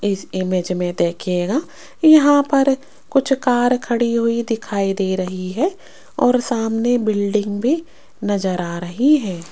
इस इमेज में देखिएगा यहां पर कुछ कार खड़ी हुई दिखाई दे रही है और सामने बिल्डिंग भी नजर आ रही है।